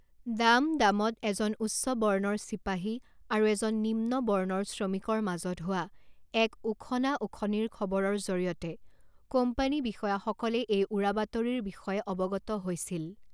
ডাম ডামত এজন উচ্চ বৰ্ণৰ চিপাহী আৰু এজন নিম্ন বৰ্ণৰ শ্ৰমিকৰ মাজত হোৱা এক উখনা উখনিৰ খবৰৰ জৰিয়তে কোম্পানী বিষয়াসকলে এই উৰাবাতৰিৰ বিষয়ে অৱগত হৈছিল।